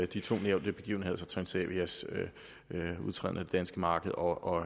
de to nævnte begivenheder altså transavias udtræden af det danske marked og